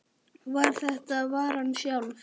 var þetta varan sjálf.